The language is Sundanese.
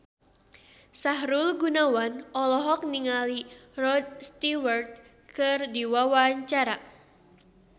Sahrul Gunawan olohok ningali Rod Stewart keur diwawancara